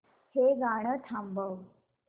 हे गाणं थांबव